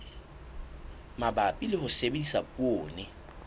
mabapi le ho sebedisa poone